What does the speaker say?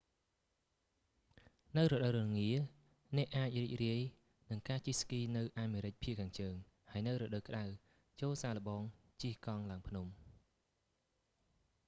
នៅរដូវរងារ អ្នកអាចរីករាយនឹងការជិះស្គីនៅអាមេរិកភាគខាងជើង ហើយនៅរដូវក្តៅ ចូរសាកល្បងការជិះកង់ឡើងភ្នំ